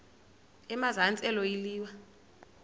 emazantsi elo liwa